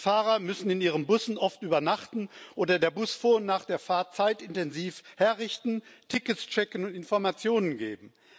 Die Fahrer müssen oft in ihren Bussen übernachten, oder den Bus vor und nach der Fahrt zeitintensiv herrichten, Tickets checken und Informationen geben.